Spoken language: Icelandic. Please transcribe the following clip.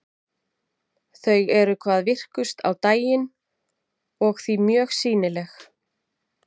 Þau eru hvað virkust á daginn og því mjög sýnileg.